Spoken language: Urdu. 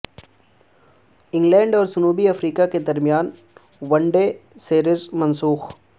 انگلینڈ اور جنوبی افریقہ کے درمیان ون ڈے سیریز منسوخ